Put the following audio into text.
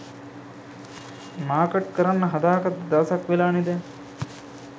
Market කරන්න හදාගත්ත දවසක් වෙලානෙ දැන්.